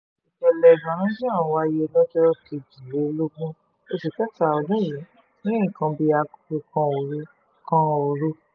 ìṣẹ̀lẹ̀ ọ̀hún wáyé lọ́jọ́ kejìlélógún oṣù kẹta ọdún yìí ní nǹkan bíi aago kan òru kan òru